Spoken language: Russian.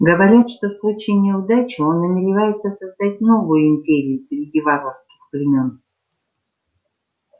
говорят что в случае неудачи он намеревается создать новую империю среди варварских племён